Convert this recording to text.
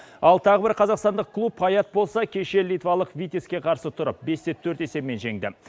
ал тағы бір қазақстандық клуб паяк болса кеше литвалық витеске қарсы тұрып бес те төрт есебімен жеңді